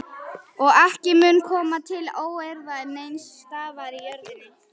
Og ekki mun koma til óeirða neins staðar á jörðinni.